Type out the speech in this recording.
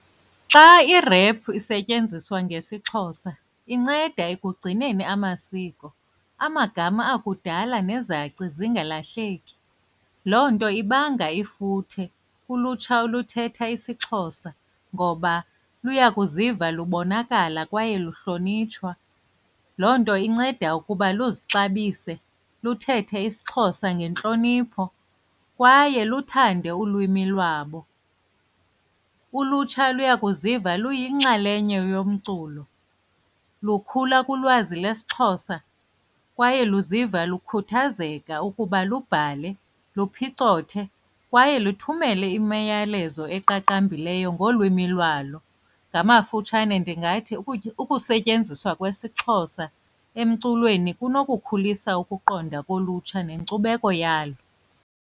Xa irephu isetyenziswa ngesiXhosa inceda ekugcineni amasiko, amagama akudala nezaci zingalahleki. Loo nto ibanga ifuthe kulutsha oluthetha isiXhosa ngoba luya kuziva lubonakala kwaye luhlonitshwa, loo nto inceda ukuba luzixabise luthethe isiXhosa ngentlonipho kwaye luthande ulwimi lwabo. Ulutsha luya kuziva luyinxalenye yomculo, lukhula kulwazi lesiXhosa kwaye luziva lukhuthazeka ukuba lubhale, luphicothe kwaye luthumele imiyalezo eqaqambileyo ngolwimi lwalo. Ngamafutshane ndingathi ukusetyenziswa kwesiXhosa emculweni kunokukhulisa ukuqonda kolutsha nenkcubeko yalo.